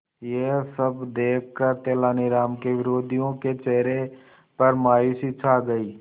यह सब देखकर तेनालीराम के विरोधियों के चेहरे पर मायूसी छा गई